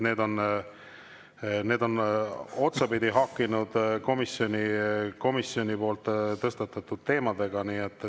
Need on otsapidi haakinud komisjoni tõstatatud teemadega.